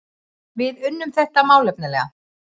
Við unnum þetta málefnalega